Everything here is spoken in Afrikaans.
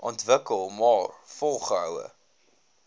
ontwikkel maar volgehoue